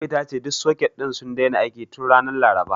Ummi ta ce duk soket ɗin sun daina aiki tun ranar Laraba.